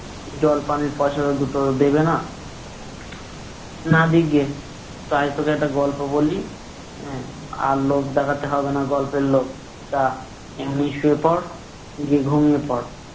জল পানির পয়সা দুটো দেবে না। না দিকগে। আয় তোকে একটা গল্প বলি, হ্যাঁ? আর লোভ দেখতে হবে না গল্পের লোভ। যা এমনেই শুয়ে পর। গিয়ে ঘুমিয়ে পর।